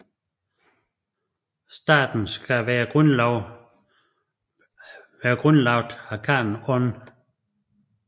Staten skal være blevet grundlagt af khanen On